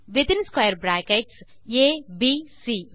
பின் square brackets இன் உள் ABC